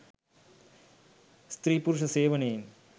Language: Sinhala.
ස්ත්‍රී පුුරුෂ සේවනයෙන්